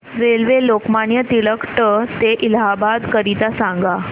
railway Lokmanya Tilak ट ते इलाहाबाद करीता सांगा